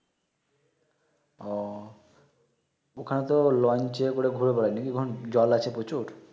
ও ওখানে তো লঞ্চ করে ঘুরে বেড়ায় না কি জল আছে প্রচুর